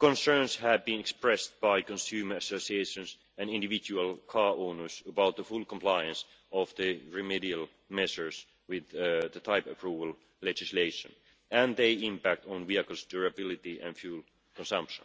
concerns have been expressed by consumer associations and individual car owners about the full compliance of the remedial measures with the type-approval legislation and their impact on vehicles' durability and fuel consumption.